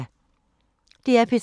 DR P3